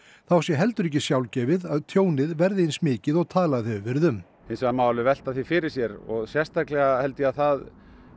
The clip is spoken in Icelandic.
þá sé heldur ekki sjálfgefið að tjónið verði eins mikið og talað hefur verið um hins vegar má alveg velta því fyrir sér og sérstaklega held ég að það